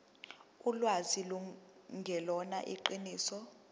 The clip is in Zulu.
ulwazi lungelona iqiniso